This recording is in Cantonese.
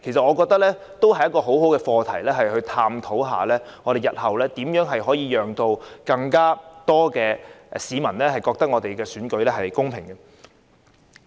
我覺得這亦是一個很好的課題，探討日後如何讓更多市民覺得選舉公平。